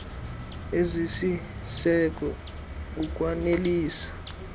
zeemfuno ezisisiseko ukwanelisa